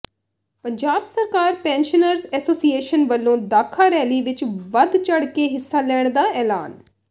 ਪੰਜਾਬ ਸਰਕਾਰ pensioners association ਵੱਲੋਂ Dakha rally ਵਿੱਚ ਵੱਧ ਚੜ੍ਹ ਕੇ ਹਿੱਸਾ ਲੈਣ ਦਾ ਐਲਾਨ